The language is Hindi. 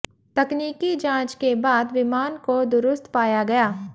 तकनीकी जांच के बाद विमान को दुरुस्त पाया गया